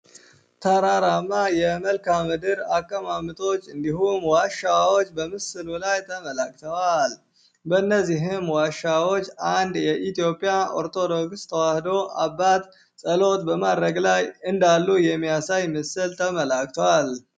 ተራራማ የመልካም ምድር አቀማመጦች እንዲሁም ዋሻዎች በምስሉ ላይ ተመላክተዋል በነዚህም ዋሻዎች አንድ የኢትዮጵያ ኦርቶዶክስ ተዋህዶ አባት ጸሎት በማድረግ ላይ እንዳሉ የሚያሳይ ምስል ተመላክቷል።